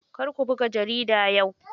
Kar ku buga jarida yau.